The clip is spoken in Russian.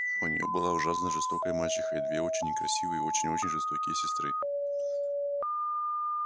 у нее была ужасно жестокая мачеха и две очень некрасивые и очень-очень жестокие сестры